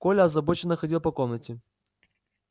коля озабоченно ходил по комнате